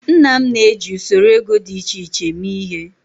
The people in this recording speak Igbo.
Nna m na-eji usoro ego dị iche iche eme ihe.